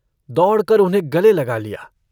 दौड़कर उन्हें गले लगा लिया।